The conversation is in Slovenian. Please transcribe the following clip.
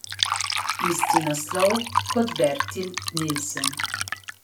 Isti naslov kot Bertil Nilsen.